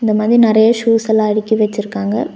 இந்த மாதி நெறையா ஷூஸ் எல்லா அடுக்கி வச்சிருக்காங்க.